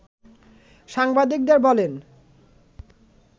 সাংবাদিকবদের বলেন